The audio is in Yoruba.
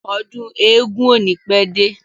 Ọdún eégún ò ní pẹ́ dé.